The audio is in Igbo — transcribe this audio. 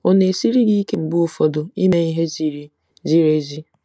Ọ na-esiri gị ike mgbe ụfọdụ ime ihe ziri ziri ezi?